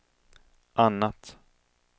annat